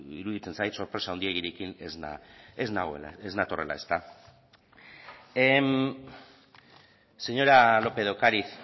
iruditzen zait sorpresa handiegirekin ez natorrela señora lópez de ocariz